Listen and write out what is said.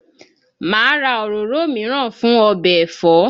Màá ra òróró mìíràn fún ọbẹ̀ ẹ̀fọ́